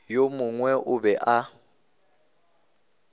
yo mongwe a be a